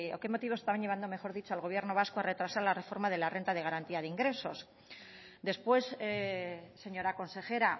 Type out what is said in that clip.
qué motivos estaban llevando mejor dicho al gobierno vasco a retrasar la reforma de la renta de garantía de ingresos después señora consejera